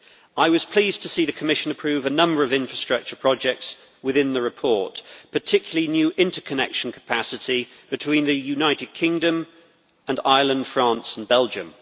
I was pleased to see the Commission approve a number of infrastructure projects within the report, particularly new interconnection capacity between the United Kingdom and Ireland, France and Belgium.